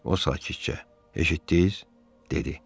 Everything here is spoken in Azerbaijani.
O sakitcə eşitdiz, dedi.